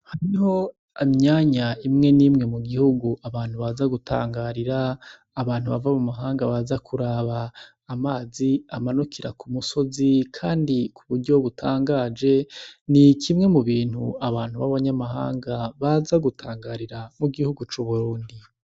Hariho imyanya imwe nimwe m'ugihugu abantu baza gutangarira abantu bava m'umahanga baza kuraba amazi amanukira k'umusozi kandi kuburyo butangaje n'ikimwe m'ubintu abantu baba ny'amahanga baza gutangarira m'ugihugu c'Uburundi.